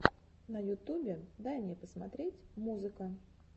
на ютубе дай мне посмотреть музыка